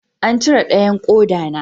An cire dayan koda na